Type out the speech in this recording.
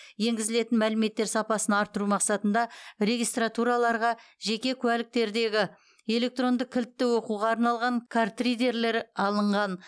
енгізілетін мәліметтер сапасын арттыру мақсатында регистратураларға жеке куәліктердегі электронды кілтті оқуға арналған картридерлер алынған